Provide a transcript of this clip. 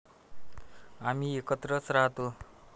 आम्ही एकत्रच राहतो.